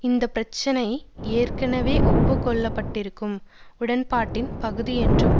இந்த பிரச்சினை ஏற்கனவே ஒப்புக்கொள்ளப்பட்டிருக்கும் உடன்பாட்டின் பகுதியென்றும்